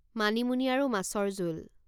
মানিমুনি আৰু মাছৰ জোল